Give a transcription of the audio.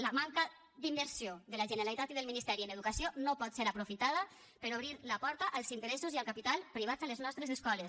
la manca d’inversió de la generalitat i del ministeri en educació no pot ser aprofitada per a obrir la porta als interessos i al capital privats a les nostres escoles